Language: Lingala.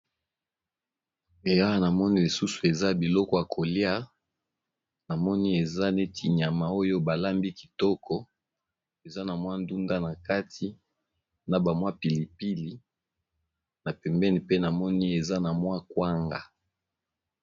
na moni lisusu eza biloko ya kolia na moni eza neti nyama oyo balambi kitoko eza na mwa ndunda na kati na bamwa pilipili na pembeni pe na moni eza na mwa kwanga